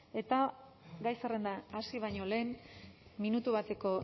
eta gai zerrenda hasi baino lehen minutu bateko